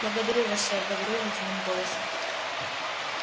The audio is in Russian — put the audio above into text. благодарю вас сэр говорю я ледяным голосом